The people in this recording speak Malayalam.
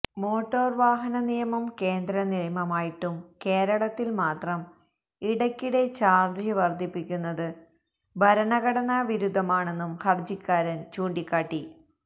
മോട്ടോര് വാഹന നിയമം കേന്ദ്രനിയമമായിട്ടും കേരളത്തില് മാത്രം ഇടക്കിടെ ചാര്ജ് വര്ധിപ്പിക്കുന്നത് ഭരണഘടനാവിരുദ്ധമാണെന്നും ഹര്ജിക്കാരന് ചൂണ്ടിക്കാട്ടി